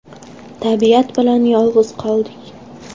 Tabiat bilan yolg‘iz qoldik.